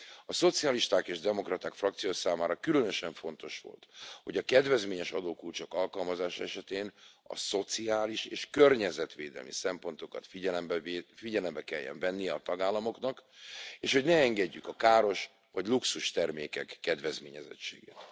A Szocialisták és Demokraták frakció számára különösen fontos volt, hogy a kedvezményes adókulcsok alkalmazása esetén a szociális és környezetvédelmi szempontokat figyelembe kelljen venni a tagállamoknak, és hogy ne engedjük a káros vagy luxustermékek kedvezményezettségét.